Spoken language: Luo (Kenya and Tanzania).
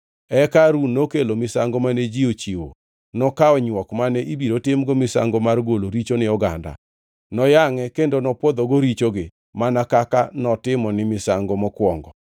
Eka Harun nokelo misango mane ji ochiwo. Nokawo nywok mane ibiro timgo misango mar golo richo ni oganda, noyangʼe kendo nopwodhogo richogi mana kaka notimo gi misango mokwongo.